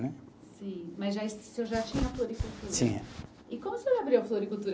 Sim, mas já es, o senhor já tinha a floricultura. Sim. E como o senhor abriu a floricultura?